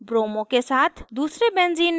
दूसरे benzene में iodo के साथ